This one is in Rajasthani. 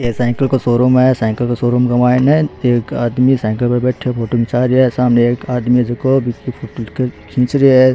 एक साईकल का शोरूम है साईकल काे शोरूम के मायने एक आदमी साईकल पे बैठयो फोटो खींचा रियो है सामने एक आदमी है जको बिकी फोटो खींच रियो है।